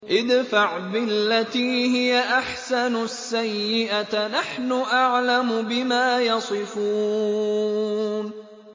ادْفَعْ بِالَّتِي هِيَ أَحْسَنُ السَّيِّئَةَ ۚ نَحْنُ أَعْلَمُ بِمَا يَصِفُونَ